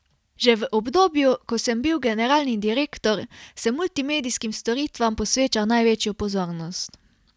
Že v obdobju, ko sem bil generalni direktor, sem multimedijskim storitvam posvečal največjo pozornost.